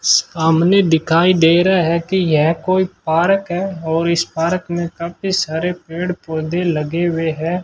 सामने दिखाई दे रहा है कि यह कोई पार्क है और इस पार्क में काफी सारे पेड़ पौधे लगे हुए है।